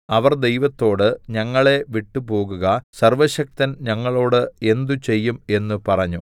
അവർ ദൈവത്തോട് ഞങ്ങളെ വിട്ടുപോകുക സർവ്വശക്തൻ ഞങ്ങളോട് എന്ത് ചെയ്യും എന്നു പറഞ്ഞു